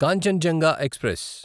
Kanchenjunga express